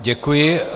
Děkuji.